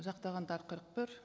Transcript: жақтағандар қырық бір